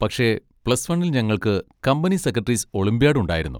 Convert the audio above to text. പക്ഷെ പ്ലസ് വണ്ണിൽ ഞങ്ങൾക്ക് കമ്പനി സെക്രട്ടറീസ് ഒളിമ്പ്യാഡ് ഉണ്ടായിരുന്നു.